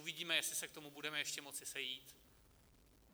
Uvidíme, jestli se k tomu budeme ještě moci sejít.